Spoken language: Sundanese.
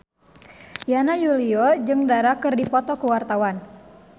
Yana Julio jeung Dara keur dipoto ku wartawan